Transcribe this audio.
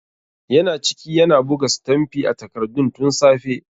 Yana ciki yana buga sitamfi a takardun tun safe.